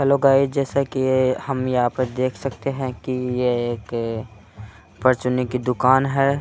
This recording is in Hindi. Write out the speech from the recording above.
हेलो गाइस जैसा की हम यहाँ पर देख सकते हैं की ये एक परचूने की दुकान है।